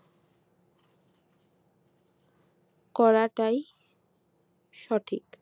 করাটাই সঠিক